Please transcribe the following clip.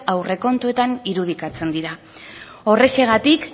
aurrekontuetan irudikatzen dira horrexegatik